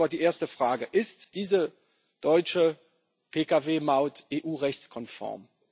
Ich stelle aber die erste Frage Ist diese deutsche Pkw Maut EU rechtskonform?